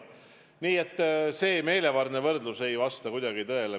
Nii et see meelevaldne võrdlus ei vasta kuidagi tõele.